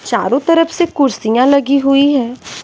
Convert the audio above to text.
चारों तरफ से कुर्सियां लगी हुई है।